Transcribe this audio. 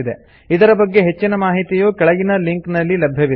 ಇದರ ಬಗ್ಗೆ ಹೆಚ್ಚಿನ ಮಾಹಿತಿಯು ಕೆಳಗಿನ ಲಿಂಕ್ ನಲ್ಲಿ ಲಭ್ಯವಿದೆ